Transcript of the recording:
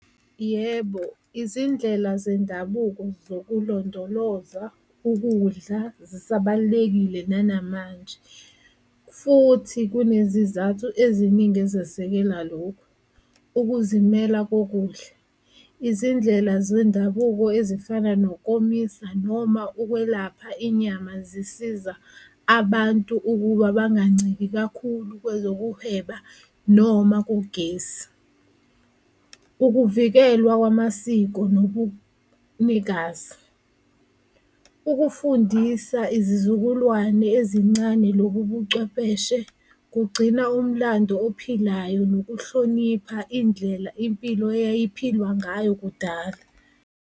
Yebo, izindlela zendabuko zokulondoloza ukudla zisabalulekile nanamanje futhi kunezizathu eziningi ezesekela lokho, ukuzimela kokudla, izindlela zendabuko ezifana nokomisa noma ukwelapha inyama zisiza abantu ukuba banganciki kakhulu kwezokuhweba noma kugesi. Ukuvikelwa kwamasiko nobunikazi ukufundisa izizukulwane ezincane lobu bucwepheshe kugcina umlando ophilayo nokuhlonipha indlela impilo eyayiphilwa ngayo kudala.